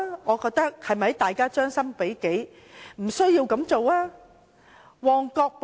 我認為應將心比己，不要這樣做。